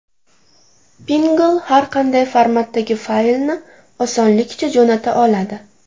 Pinngle har qanday formatdagi faylni osonlikcha jo‘nata oladi.